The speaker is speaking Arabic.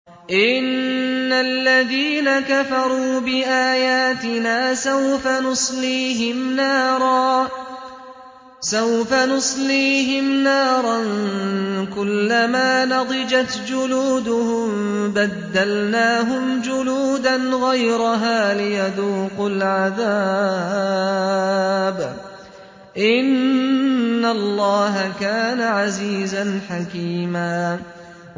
إِنَّ الَّذِينَ كَفَرُوا بِآيَاتِنَا سَوْفَ نُصْلِيهِمْ نَارًا كُلَّمَا نَضِجَتْ جُلُودُهُم بَدَّلْنَاهُمْ جُلُودًا غَيْرَهَا لِيَذُوقُوا الْعَذَابَ ۗ إِنَّ اللَّهَ كَانَ عَزِيزًا حَكِيمًا